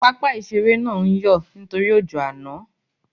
Pápá ìṣeré náà ń yọ̀ nítorí ojó àná